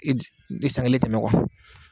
I di san kelen tɛmɛ